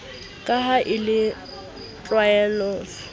ka ha e le tlwaelovv